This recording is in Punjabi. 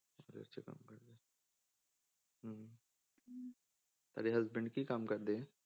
ਤੁਹਾਡੇ husband ਕੀ ਕੰਮ ਕਰਦੇ?